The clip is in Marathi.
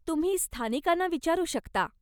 तुम्ही स्थानिकांना विचारू शकता.